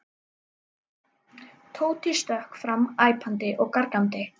Tóti stökk fram æpandi og gargandi.